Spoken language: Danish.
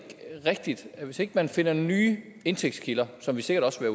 rigtigt at hvis ikke man finder nye indtægtskilder som vi sikkert også